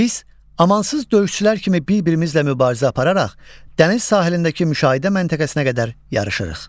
Biz amansız döyüşçülər kimi bir-birimizlə mübarizə apararaq dəniz sahilindəki müşahidə məntəqəsinə qədər yarışırıq.